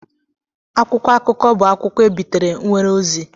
akwụkwọ akụkọ bụ akwụkwọ ebitere nwere ozi